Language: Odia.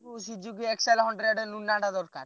Suzuki X one hundred Luna ଟା ଦରକାର।